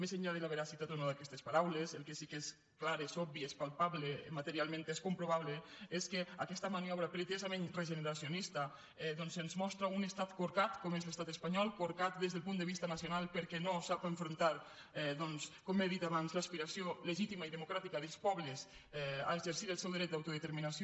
més enllà de la veracitat o no d’aquestes paraules el que sí que és clar és obvi és palpable materialment és comprovable és que aquesta maniobra pretesament regeneracionista doncs ens mostra un estat corcat com és l’estat espanyol corcat des del punt de vista nacional perquè no sap enfrontar com he dit abans l’aspiració legítima i democràtica dels pobles a exercir el seu dret d’autodeterminació